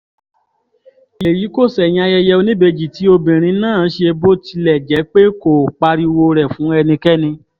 èyí kò ṣẹ̀yìn ayẹyẹ oníbejì tí obìnrin náà ṣe bó tilẹ̀ jẹ́ pé kò pariwo rẹ̀ fún ẹnikẹ́ni